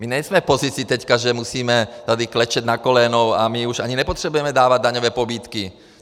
My nejsme v pozici teďka, že musíme tady klečet na kolenou, a my už ani nepotřebujeme dávat daňové pobídky.